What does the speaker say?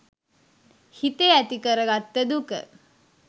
හිතේ ඇතිකරගත්ත දුක.